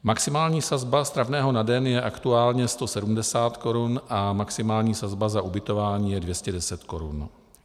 Maximální sazba stravného na den je aktuálně 170 korun a maximální sazba za ubytování je 210 korun.